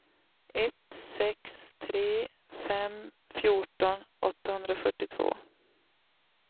ett sex tre fem fjorton åttahundrafyrtiotvå